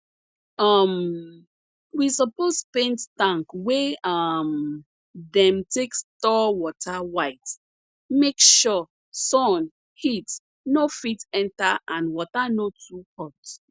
um we suppose paint tank wey um dem take store water white make sure sun heat no fit enter and water no too hot